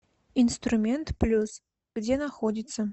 инструмент плюс где находится